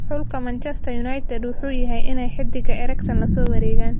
Xulka Manchester United wuxu yaxay inay hidiga Eriksan lasowaregan.